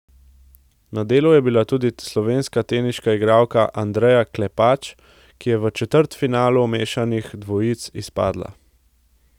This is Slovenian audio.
Na delu je bila tudi slovenska teniška igralka Andreja Klepač, ki je v četrtfinalu mešanih dvojic izpadla.